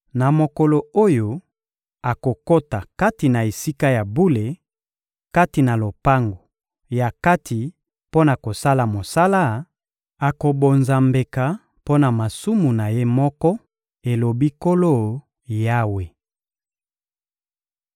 Na mokolo oyo akokota kati na Esika ya bule, kati na lopango ya kati mpo na kosala mosala, akobonza mbeka mpo na masumu na ye moko, elobi Nkolo Yawe.